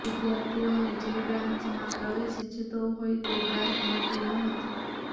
વિદ્યાર્થીઓને જે બ્રાન્ચમાં પ્રવેશ ઇચ્છતો હોય તે બ્રાન્ચ મળતી નહોતી